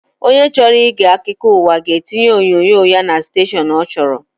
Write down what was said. Onye chọrọ ige akụkọụwa ga etinye onyinyo ya na stashọn ọ chọrọ